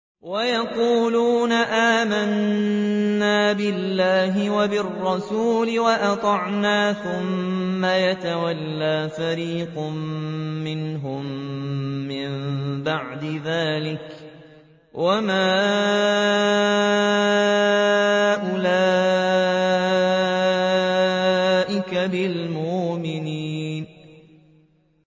وَيَقُولُونَ آمَنَّا بِاللَّهِ وَبِالرَّسُولِ وَأَطَعْنَا ثُمَّ يَتَوَلَّىٰ فَرِيقٌ مِّنْهُم مِّن بَعْدِ ذَٰلِكَ ۚ وَمَا أُولَٰئِكَ بِالْمُؤْمِنِينَ